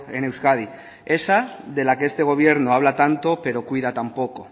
en euskadi esa de la que este gobierno habla tanto pero cuida tan poco